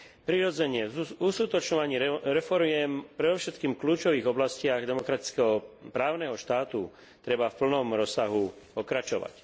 Prirodzene, v uskutočňovaní reforiem, predovšetkým v kľúčových oblastiach demokratického právneho štátu, treba v plnom rozsahu pokračovať.